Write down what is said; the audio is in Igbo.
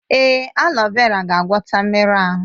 Èé, aleo vera ga-agwọta mmerụ ahụ.